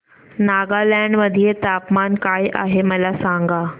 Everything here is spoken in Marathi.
नागालँड मध्ये तापमान काय आहे मला सांगा